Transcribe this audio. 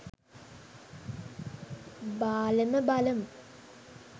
බාලම බලමු.